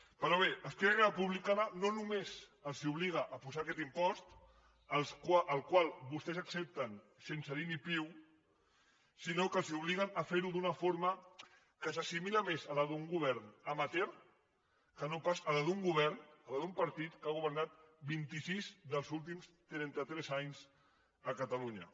però bé esquerra republicana no només els obliga a posar aquest impost el qual vostès accepten sense dir ni piu sinó que els obliguen a fer ho d’una forma que s’assimila més a la d’un govern amateurpas a la d’un partit que ha governat vint i sis dels últims trenta tres anys a catalunya